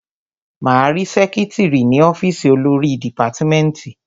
Máa rí sẹ́kítrì ní ọ́fìsì olórí dìpátmẹ́tì.